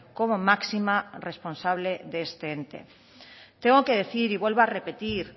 como máxima responsable de este ente tengo que decir y vuelvo a repetir